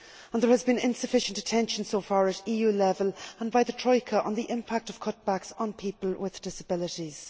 There has been insufficient attention so far at EU level and by the Troika to the impact of cutbacks on people with disabilities.